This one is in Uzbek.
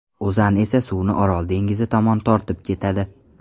O‘zan esa suvni Orol dengizi tomon tortib ketadi.